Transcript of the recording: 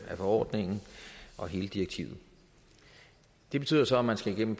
af forordningen og hele direktivet det betyder så at man skal igennem